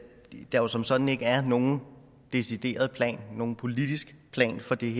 der som sådan ikke er nogen decideret politisk plan for det